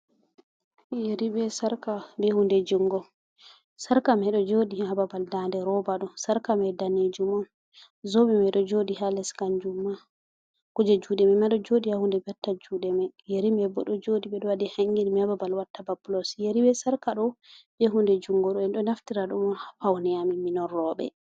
Yerri be sarka be hunde jungo, sarka mai ɗo joɗi ha babal dande roba do, sarka mai danejum on zobe mai ɗo joɗi ha leskanjum ma kuje juɗe mai ma ɗo joɗi ha hunde banta juɗe mai yeri maibo ɗo joɗi ɓedo waɗi hangin mai ha babal watta ba pulos yeri be sarka ɗo ɓe hunde jungo ɗo en ɗo naftira ɗum on ha paune amin min on roɓɓe.